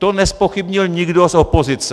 To nezpochybnil nikdo z opozice.